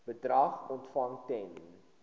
bedrag ontvang ten